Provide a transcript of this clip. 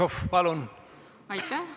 Aitäh!